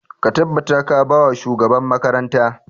Ka tabbata ka ba wa shugaban makaranta!